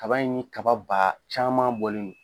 Kaba in ni kaba ba caman bɔlen don.